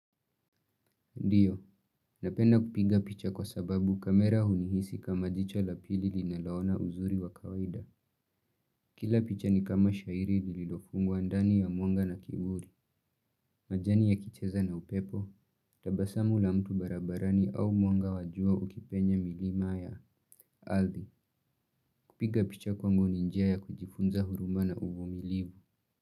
Ndiyo, napenda kupiga picha kwa sababu kamera hunihisi kama jicho la pili linaloona uzuri wa kawaida. Kila picha ni kama shairi lilofungwa ndani ya mwanga na kiburi. Majani yakicheza na upepo, tabasamu la mtu barabarani au mwanga wa jua ukipenye milima ya ardhi. Kupiga picha kwangu ni njia ya kujifunza huruma na uvumilivu.